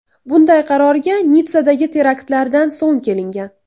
Bunday qarorga Nitssadagi teraktlardan so‘ng kelingan.